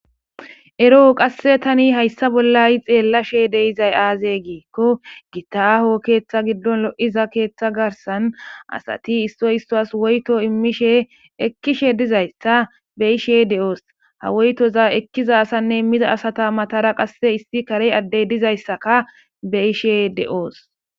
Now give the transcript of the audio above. Eroo qasse tani hayssa bollay xeellashe deizay aaze giikko gitaho keeththa giddon lo7iza keeththa garsan asati istoy istoas woyto immishe ekkishe dizayssa beyishe de7oos ha woytoza ekkiza asanne miza asata matara qasse issi kare addey dizayssaka beyishe de7oos